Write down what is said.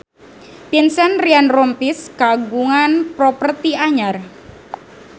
Vincent Ryan Rompies kagungan properti anyar